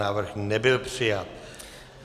Návrh nebyl přijat.